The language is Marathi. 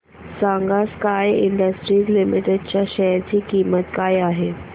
सांगा स्काय इंडस्ट्रीज लिमिटेड च्या शेअर ची किंमत काय आहे